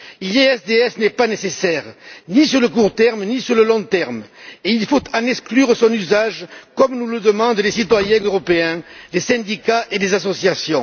Le RDIE n'est pas nécessaire, ni à court terme, ni à long terme, et il faut en exclure son usage, comme nous le demandent les citoyens européens, les syndicats et les associations.